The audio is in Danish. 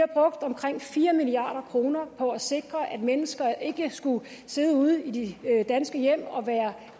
omkring fire milliard kroner på at sikre at mennesker ikke skulle sidde ude i de danske hjem og være